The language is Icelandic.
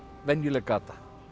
venjuleg gata